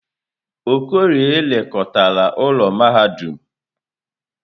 Okorie lekọtara ụlọ mahadum.